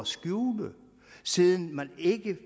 skjule siden man ikke